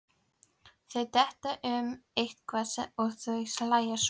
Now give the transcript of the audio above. Þau detta um eitthvað og svo hlæja þau.